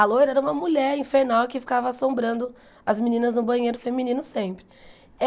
A Loira era uma mulher infernal que ficava assombrando as meninas no banheiro feminino sempre.